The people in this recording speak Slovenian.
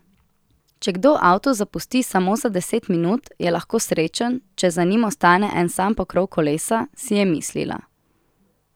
Če kdo avto zapusti samo za deset minut, je lahko srečen, če za njim ostane en sam pokrov kolesa, si je mislila.